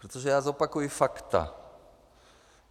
Protože já zopakuji fakta.